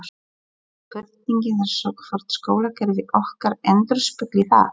Spurningin er svo hvort skólakerfi okkar endurspegli það?